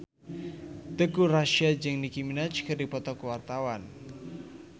Teuku Rassya jeung Nicky Minaj keur dipoto ku wartawan